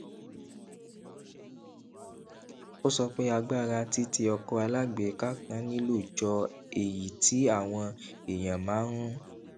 ó sọ pé agbára tí tí ọkọ alágbèéká kan nílò jọ èyí tí àwọn èèyàn máa ń